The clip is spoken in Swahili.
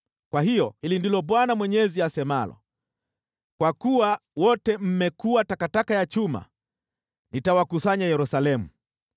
Kwa hiyo hili ndilo Bwana Mwenyezi asemalo: ‘Kwa kuwa wote mmekuwa takataka ya chuma, nitawakusanya Yerusalemu.